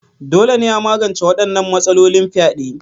Dole ne a magance wadannan matsalolin fyade.